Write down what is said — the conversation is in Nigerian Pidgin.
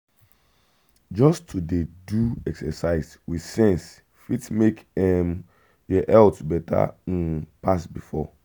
just to dey do exercise with sense fit make um your health better um pass before.